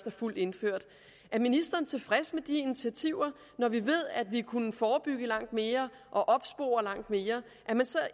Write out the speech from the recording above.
er fuldt indført er ministeren tilfreds med de initiativer når vi ved at vi kunne forebygge langt mere og opspore langt mere